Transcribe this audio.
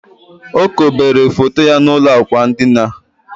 O kobere foto ya n'ụlọ ákwà ndina